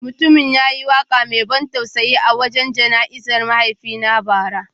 Mutumin ya yi waka mai ban tausayi a wajen jana’izar mahaifina bara.